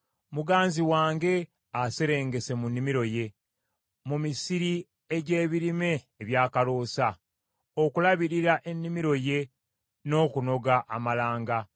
Muganzi wange aserengese mu nnimiro ye, mu misiri egy’ebirime ebyakaloosa, okulabirira ennimiro ye n’okunoga amalanga.